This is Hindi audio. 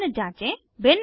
निम्न जाँचें 1